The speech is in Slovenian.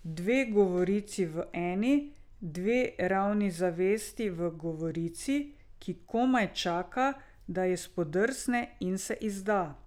Dve govorici v eni, dve ravni zavesti v govorici, ki komaj čaka, da ji spodrsne in se izda.